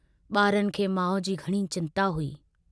बारनि खे माउ जी घणी चिन्ता हुई।